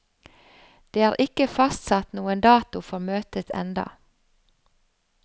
Det er ikke fastsatt noen dato for møtet enda.